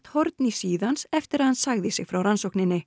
horn í síðu hans eftir að hann sagði sig frá rannsókninni